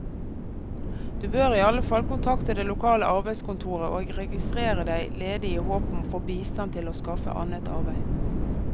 Du bør i alle fall kontakte det lokale arbeidskontoret og registrere deg ledig i håp om å få bistand til å skaffe annet arbeid.